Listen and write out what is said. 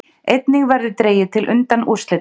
Einnig verður dregið til undanúrslitanna